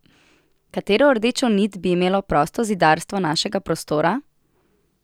Katero rdečo nit bi imelo prostozidarstvo našega prostora?